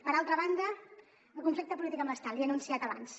per altra banda el conflicte polític amb l’estat l’hi he anunciat abans